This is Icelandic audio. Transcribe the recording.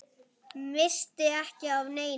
Missti ekki af neinu.